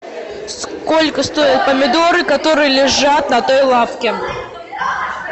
сколько стоят помидоры которые лежат на той лавке